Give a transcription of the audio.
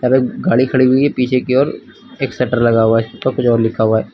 गाड़ी खड़ी हुई है पीछे की ओर एक शटर लगा हुआ है कुछ और लिखा हुआ है।